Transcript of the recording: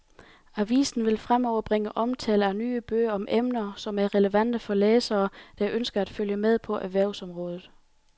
Avisen vil fremover bringe omtale af nye bøger om emner, som er relevante for læsere, der ønsker at følge med på erhvervsområdet.